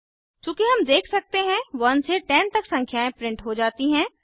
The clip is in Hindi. चूँकि हम देख सकते हैं 1 से 10 तक संख्याएं प्रिंट हो जाती हैं